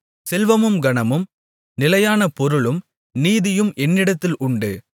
செல்வமும் கனமும் நிலையான பொருளும் நீதியும் என்னிடத்தில் உண்டு